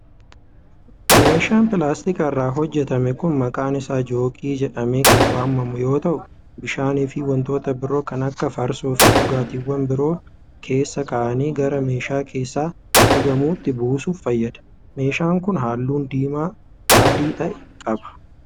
Meeshaan pilaastika irraa hojjatame kun maqaan isaa joogii jedhamee kan waamamu yoo ta'u, bishaan fi wantoota biroo kan akka farsoo fi dhugaatiiwwan biroo keessa ka'anii gara meeshaa keessaa dhugamuutti buusuf fayyada. Meeshaan kun, haalluu diimaa adii ta'e qaba.